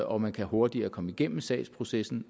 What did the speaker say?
og man kan hurtigere komme igennem sagsprocessen